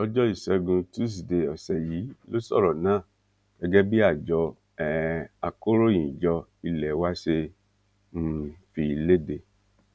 lọjọ ìṣẹgun tusidee ọsẹ yìí ló sọrọ náà gẹgẹ bí àjọ um akọròyìnjọ ilé wa ṣe um fi lédè